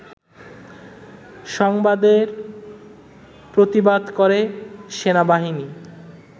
সংবাদের প্রতিবাদ করে সেনাবাহিনী